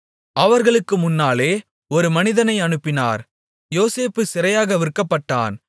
அவர்களுக்கு முன்னாலே ஒரு மனிதனை அனுப்பினார் யோசேப்பு சிறையாக விற்கப்பட்டான்